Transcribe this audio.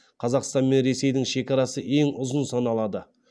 қазақстан мен ресейдің шекарасы ең ұзын саналады